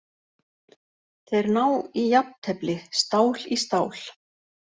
Þeir ná í jafntefli, stál í stál.